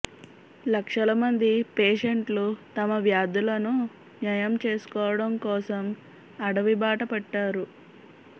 లక్షల మంది పేషెంట్లు తమ వ్యాధులను నయం చేసుకోవడం కోసం అడవి బాట పట్టారు